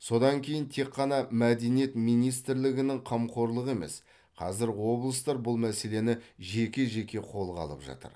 содан кейін тек қана мәдениет министрлігінің қамқорлығы емес қазір облыстар бұл мәселені жеке жеке қолға алып жатыр